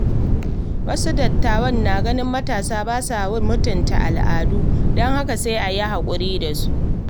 Wasu dattawa na ganin matasa ba sa mutunta al’adu, don haka sai a yi hakuri da su.